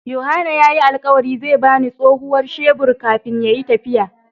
Yohana ya yi alkawari zai ba ni tsohuwar shebur kafin ya yi tafiya.